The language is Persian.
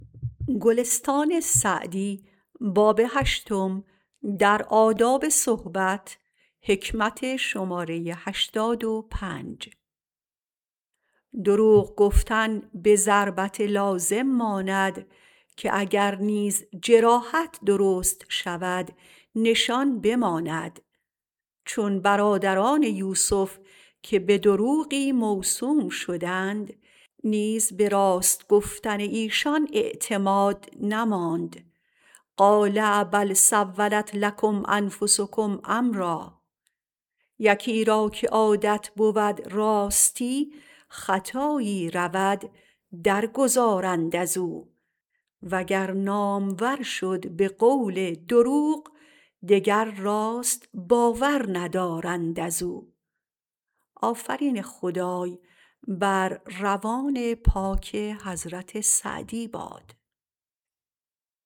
دروغ گفتن به ضربت لازم ماند که اگر نیز جراحت درست شود نشان بماند چون برادران یوسف که به دروغی موسوم شدند نیز به راست گفتن ایشان اعتماد نماند قال بل سولت لکم انفسکم امرا یکی را که عادت بود راستی خطایی رود در گذارند از او و گر نامور شد به قول دروغ دگر راست باور ندارند از او